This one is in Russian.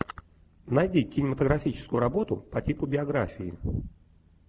найди кинематографическую работу по типу биографии